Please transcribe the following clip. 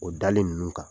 O dali ninnu kan